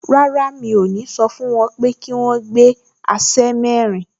Rárá, mi ò ní sọ fún wọn pé kí wọ́n gbé aṣẹ́ mẹ́rin